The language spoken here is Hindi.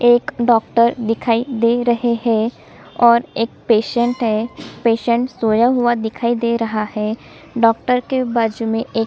एक डॉक्टर दिखाई दे रहै है और एक पेसेन्ट है पेसेन्ट सोया हुआ दिखाई दे रहा है डॉक्टर के बाजु में एक--